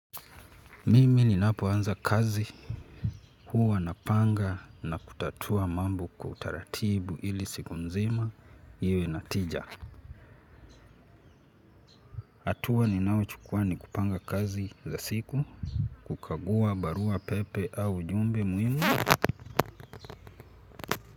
Mimi ninapoanza kazi, huwa napanga na kutatua mambo kwa utaratibu ili siku nzima, iwe na tija. Hatua ninayochukua ni kupanga kazi za siku, kukagua barua pepe au jumbe muhimu.